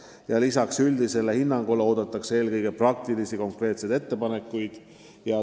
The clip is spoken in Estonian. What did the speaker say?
Ja lisaks üldisele hinnangule oodatakse eelkõige praktilisi konkreetseid ettepanekuid.